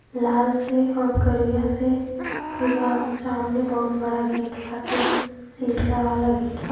लाल से हो करिया से फिर वह सामने बहुत बड़ा गेट बाटे शीशा वाला गेट --